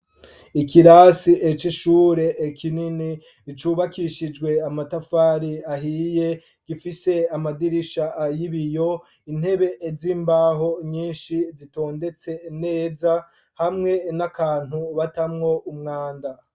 Ikirasi c'ishure kinini cubakishijwe amatafari ahiye, gifise amadirisha yibiyo, Intebe z'imbaho nyinshi zitondetse neza hamwe nakantu batamwo umwanda.